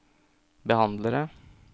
behandlere